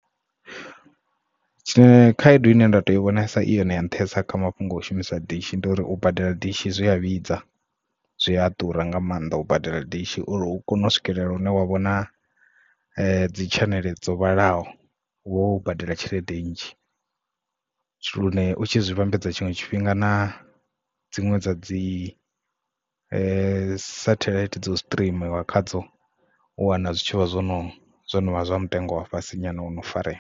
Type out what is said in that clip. Tshine khaedu ine nda to i vhonesa iyone ya nṱhesa kha mafhungo u shumisa dishi ndi uri u badela dishi zwi a vhidza zwi a ḓura nga maanḓa u badela dishi uri u kone u swikelela une wa vhona dzi tshaneḽe dzo vhalaho u vho wo badela tshelede nnzhi lune u tshi vhambedza tshiṅwe tshifhinga na dziṅwe dza dzi satelite dza u streamer khadzo u wana zwitshavha zwo no zwino vha zwa mutengo wa fhasi nyana ono farea.